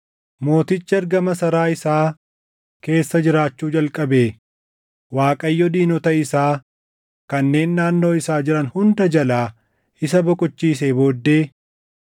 Mootichi erga masaraa isaa keessa jiraachuu jalqabee Waaqayyo diinota isaa kanneen naannoo isaa jiran hunda jalaa isa boqochiisee booddee,